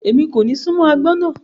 Ẹmi kò ní sùnmọ̀ ọyin náà